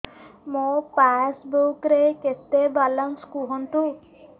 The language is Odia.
ମୋ ପାସବୁକ୍ ରେ କେତେ ବାଲାନ୍ସ କୁହନ୍ତୁ